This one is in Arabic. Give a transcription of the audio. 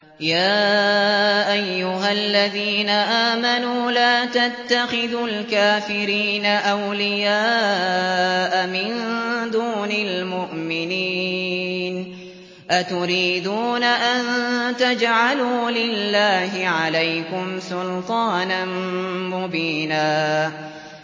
يَا أَيُّهَا الَّذِينَ آمَنُوا لَا تَتَّخِذُوا الْكَافِرِينَ أَوْلِيَاءَ مِن دُونِ الْمُؤْمِنِينَ ۚ أَتُرِيدُونَ أَن تَجْعَلُوا لِلَّهِ عَلَيْكُمْ سُلْطَانًا مُّبِينًا